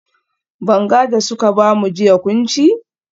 Banga da suka bamu jiya kun ci?